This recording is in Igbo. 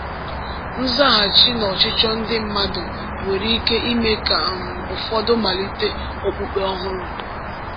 Nzaghachi n’ọchịchọ ndị mmadụ nwere ike ime ka um ụfọdụ malite okpukpe ọhụrụ.